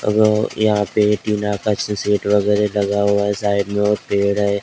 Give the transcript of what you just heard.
यहाँ पे एक लगा हुआ हैं और साइड एक पेड़ हैं ।